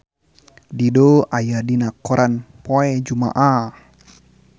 Dido aya dina koran poe Jumaah